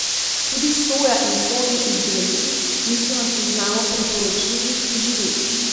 Tudi soja in sojini izdelki niso na seznamu priporočljivih živil.